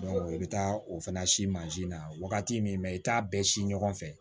i bɛ taa o fana si mansin na wagati min na i t'a bɛɛ si ɲɔgɔn fɛ